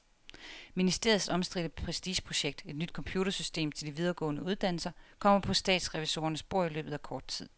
Ministeriets omstridte prestigeprojekt, et nyt computersystem til de videregående uddannelser, kommer på statsrevisorernes bord i løbet af kort tid.